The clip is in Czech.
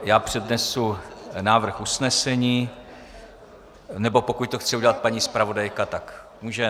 Já přednesu návrh usnesení, nebo pokud to chce udělat paní zpravodajka, tak může.